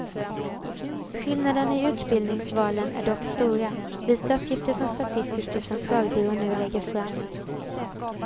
Skillnaderna i utbildningsvalen är dock stora, visar uppgifter som statistiska centralbyrån nu lägger fram.